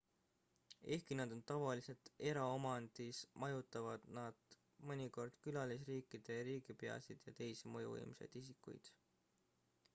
ehkki nad on tavaliselt eraomandis majutavad nad mõnikord külalisriikide riigipeasid ja teisi mõjuvõimsaid isikuid